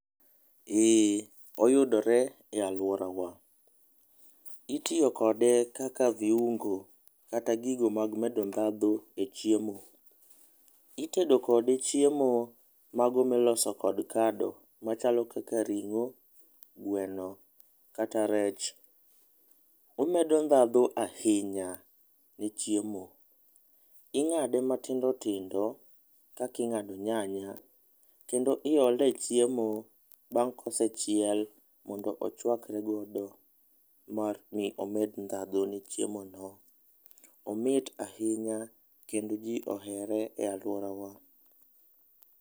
Ee oyudore e aluora wa, itiyo kode kaka viuongo kata gigo mag medo dhandho e chiemo. Itedo kode chiemo mago mi iloso kod kado machalo kaka ring'o, gweno kata rech. Omedo dhandho ahinya e chiemo, ing'ado matindo tindo kaka ing'ado nyanya kendo iole e chiemo bang' ka osechiel mondo ochwakre godo mar mondo mi omed dhando e chiemo no. Omit ahinya kendo ji ohere e aluora wa.